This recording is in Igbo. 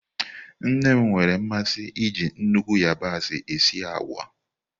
Nne m nwere mmasị iji nnukwu yabasị esi agwa.